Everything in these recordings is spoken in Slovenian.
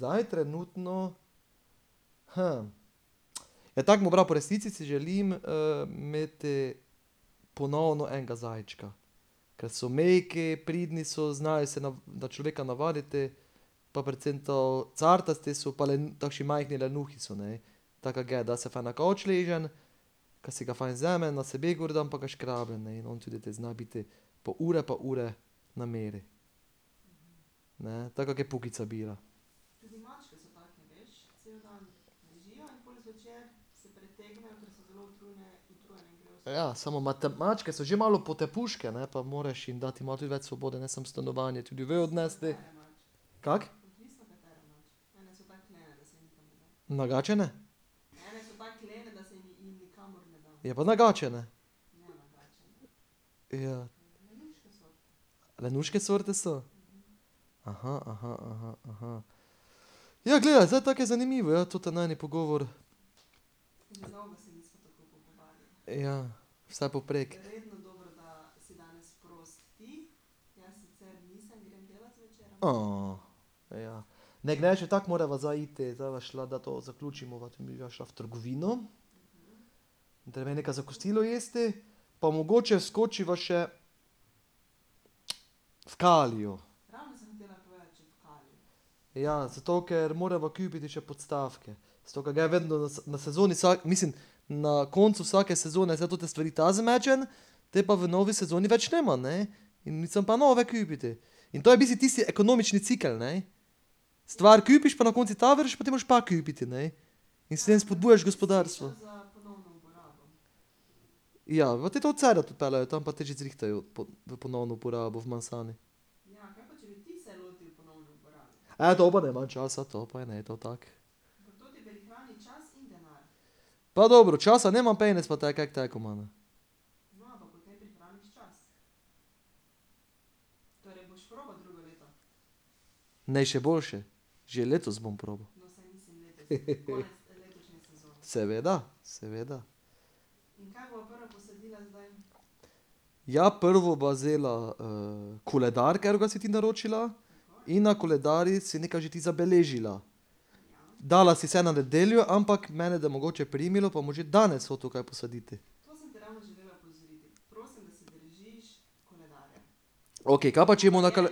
Zdaj trenutno, Ja, tako bom pravil, po resnici si želim imeti ponovno enega zajčka. Ke so mehki, pridni so, znajo se na, na človeka navaditi, pa predvsem to, cartasti so pa takši majhni lenuhi so, ne. Taka ge, da se fajn na kavč uležem, ka si ga fajn vzamem, na sebe gor dam pa ga škrabam, ne, in on te tudi zna biti pol ure pa ure na miru, ne, taka ge bil. Ja, samo mačke so že malo potepuške, ne, pa moraš jim dati malo tudi več svobode, ne samo stanovanje, tudi vun odnesti ... Kako? Nagačene? Ja, pa nagačene. Ja. Lenuške sorte so? Ja, gledaj, zdaj tako je zanimivo, ja, toti najin pogovor. Ja, vse povprek. ja. Ne, gnes še tako morava zdaj iti, da bova šla, da to zaključimo, midva šla v trgovino. Treba nekaj za kosilo jesti pa mogoče skočiva še v Kalio. Ja, zato ker morava kupiti še podstavke. Zato ker je vedno, na sezoni mislim, na koncu vsake sezone zdaj tote stvari ta zmečem, te pa v novi sezoni več nimam, ne. In sem pa nove kupiti. In to je v bistvu tisti ekonomični cikel, ne. Stvar kupiš pa na koncu ta vrže, potem moraš pa kupiti, ne. In s tem spodbujaš gospodarstvo. Ja, odpeljejo, tam pa ti že zrihtajo v ponovno uporabo . dobro je, manj časa, to pa je, ne, to, tako. Pa dobro, časa nimam, penez pa imamo. Ne, še boljše. Že letos bom probal. Seveda, seveda. Ja, prvo bova vzela koledar, katerega si ti naročila, in na koledarju si nekaj ti že zabeležila. Dala si vse na nedeljo, ampak mene da mogoče primilo, pa bom že danes hotel kaj posaditi. Okej, kaj pa če bomo na kar ...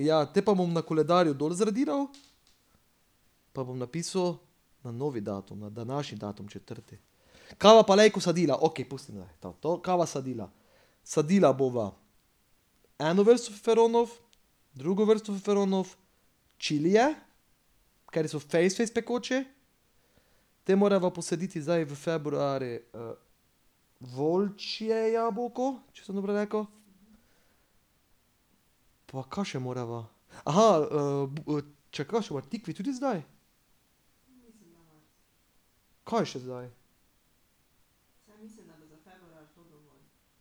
Ja, te pa bom na koledarju dol zradiral, pa bom napisal na novi datum, na današnji datum, četrtek. Kaj bova pa lejko sadila, okej pustiva to, kaj bova sadila? Sadila bova eno vrsto feferonov, drugo vrsto feferonov, čilije, kateri so fejst, fejst pekoči, te morava posaditi zdaj v februarju volčje jabolko, če sem dobro rekel, pa kaj še morava? čakaj, kaj še tikve tudi zdaj? Kaj je še zdaj?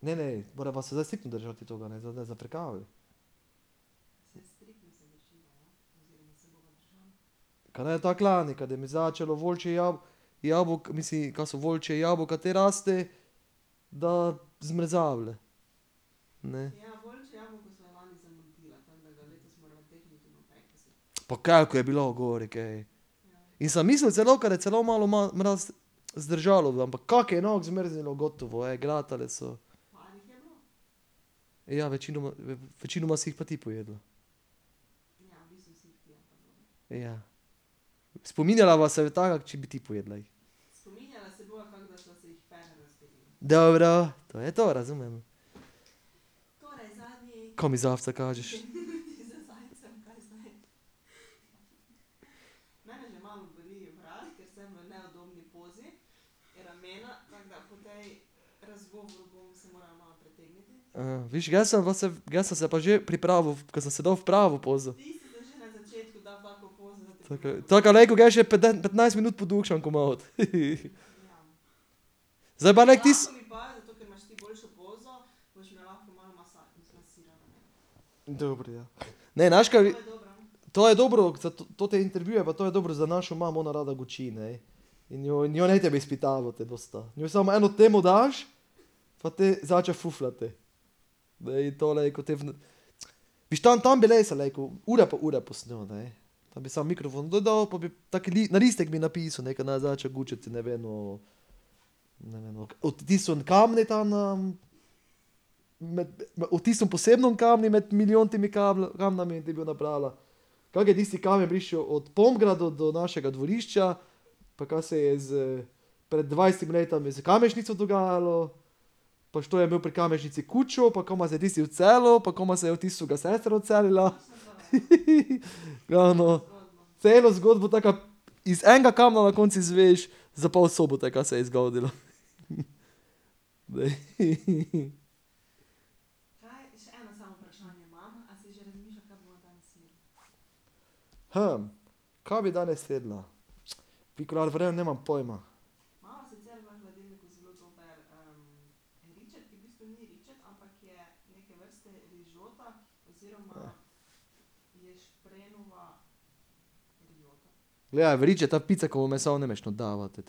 Ne, ne, morava se zdaj striktno držati tega, ne, zdaj ne zafrkavaj. Kaj ni tako ke lani, ka da mi začelo volčje jabolko, mislim, ka so volčja jabolka, te raste, da zmrzava, ne. Pa koliko je bilo gori kaj. In sem mislil celo, ka da celo malo mraz, zdržalo bo, ampak kako je inok zmrznilo, gotovo je, glatale so. Ja, večinoma, večinoma si jih pa ti pojedla. Spominjala , če bi ti pojedla jih. Dobro, to je to, razumem. Kaj mi zajce kažeš? viš, jaz sem , ge sem se pa že pripravil ke sem se dal v pravo pozo. Tako ke, tako ke lejko ge še petnajst minut podukšam komot, Zdaj pa lejko ti ... Dobro, ja. Ne, naš kaj ... To je dobro , toti intervju pa to je dobro za našo mamo, ona rada guči, ne. In njo ni treba izpitavati dosti. Njej samo eno temo daš, pa te začne fafljati. Ne, to lejko te . Viš, tam, tam bi resno lejko, ure pa ure posnel, ne. Tam bi samo mikrofon dol dal pa bi tak na listek bi napisal, ne, kaj naj začne gučati, ne vem, o, ne vem, o, od tistem kamnu tam na, o tistem posebnem kamnu med milijontimi kamni in bi ga nabrala, kako je tisti kamen prišel od do našega dvorišča, pa kaj se je s pred dvajsetimi leti iz Kamežnico dogajalo, pač što je bil pri Kamežnici kuču, pa kaj ima zdaj tisti v Celju, pa kaj pa zdaj tisto ... Ja, no. Celo zgodbo, tako ka iz enega kamna na koncu izveš za pol Sobote, kaj se je zgodilo, Glej . Kaj bi danes jedla? nimam pojma. Ja, v ričet, ta picekovo meso ne moreš not davati.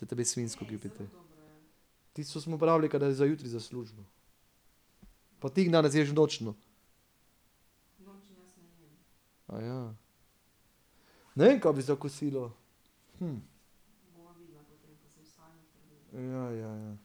Tisto smo porabili, kadar je za jutri za službo. Pa ti v nočno. Ne vem, kaj bi za kosilo. Ja, ja, ja.